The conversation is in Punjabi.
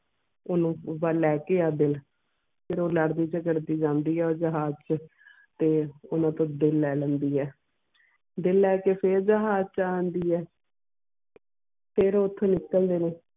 ਓਹਨੂੰ ਓਹਦਾ ਲੈਕੇ ਆ ਦਿਲ ਫੇਰ ਉਹ ਲੜ ਦੀ ਝਗੜ ਦੀ ਆਂਦੀ ਆ ਜਹਾਜ ਚ ਤੇ ਉਹਨਾਂ ਤੋਂ ਦਿਲ ਲੈ ਲੈਂਦੀ ਆ ਦਿਲ ਲੈ ਕੇ ਫੇਰ ਜਹਾਜ ਚ ਆਂਦੀ ਆ ਫੇਰ ਓਥੋਂ ਨਿਕਲਦੇ ਨੇ